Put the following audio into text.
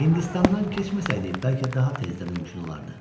Hindistandan keçməsəydi, bəlkə daha tez də mümkün olardı.